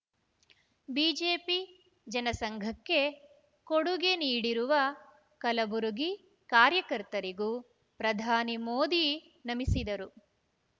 ಬಿಜೆಪಿಜನಸಂಘಕ್ಕೆ ಕೊಡುಗೆ ನೀಡಿರುವ ಕಲಬುರಗಿ ಕಾಯಕರ್ತರಿಗೂ ಪ್ರಧಾನಿ ಮೋದಿ ನಮಿಸಿದರು